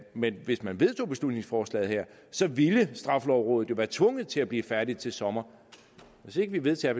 men hvis man vedtog beslutningsforslaget her ville straffelovrådet jo være tvunget til at blive færdig til sommer hvis vi ikke vedtager